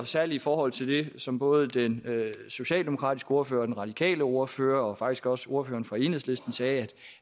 særligt i forhold til det som både den socialdemokratiske ordfører og den radikale ordfører og faktisk også ordføreren fra enhedslisten sagde